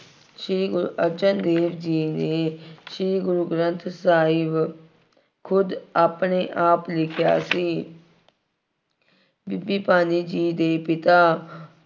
ਸ਼੍ਰੀ ਗੁਰੂ ਅਰਜਨ ਦੇਵ ਜੀ ਨੇ, ਸ਼੍ਰੀ ਗੁਰੂ ਗ੍ਰੰਥ ਸਾਹਿਬ ਖੁਦ ਆਪਣੇ ਆਪ ਲਿਖਿਆ ਸੀ। ਬੀਬੀ ਭਾਨੀ ਜੀ ਦੇ ਪਿਤਾ